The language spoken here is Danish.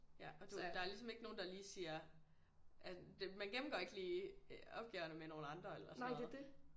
Ja og du ved der er ligesom ikke nogen der lige siger at man gennemgår ikke lige opgaverne med nogle andre eller sådan noget